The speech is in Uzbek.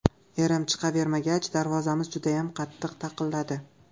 Erim chiqavermagach, darvozamiz judayam qattiq taqilladi.